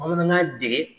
Bamanankan dege